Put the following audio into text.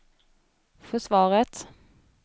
försvaret